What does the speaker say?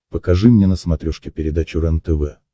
покажи мне на смотрешке передачу рентв